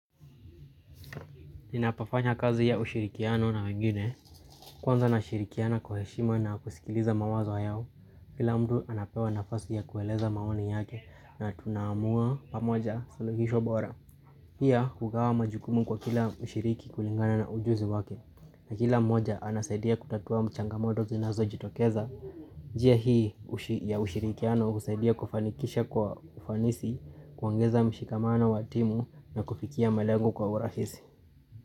Ninapofanya kazi ya ushirikiano na wengine, kwanza na shirikiana kwa heshima na kusikiliza mawazo yao, kila mtu anapewa nafasi ya kueleza mawani yake na tunamua pamoja saluhisho bora. Hiya kukawa majukumu kwa kila ushiriki kulingana na ujuzi wake, na kila moja anasaidia kutatua mchangamodo zinazo jitokeza. Je hii ya ushirikiano usaidia kufanikisha kwa ufanisi, kuangeza mshikamana watimu na kufikia malengu kwa urahisi.